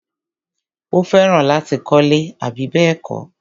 Ó fẹ́ràn láti kọ́lẹ́. àbí bẹ́ẹ̀kọ́?